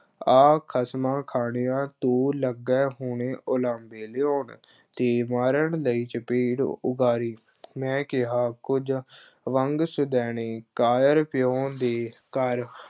ਆ ਖਸਮਾਂ ਖਾਣਿਆ ਤੂੰ ਲੱਗੇ ਹੁਣੇ ਉਲਾਂਭੇ ਲਿਆਉਣ, ਤੇ ਮਾਰਨ ਲਈ ਚਪੇੜ ਉਘਾਰੀ ਮੈਂ ਕਿਹਾ, ਕੁਝ ਵੰਡ ਸ਼ੁਦੈਣੇ ਕਾਇਰ ਪਿਉ ਦੇ ਘਰ